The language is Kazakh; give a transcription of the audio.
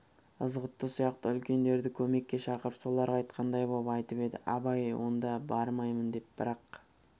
ызғұтты сияқты үлкендерді көмекке шақырып соларға айтқандай боп айтып еді абай онда да бармаймын деп бір-ақ